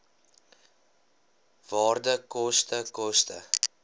waarde koste koste